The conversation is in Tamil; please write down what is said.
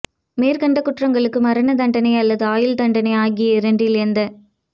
மேற்கண்ட குற்றங்களுக்கு மரண தண்டனை அல்லது ஆயுள் தண்டனை ஆகிய இரண்டில் எந்த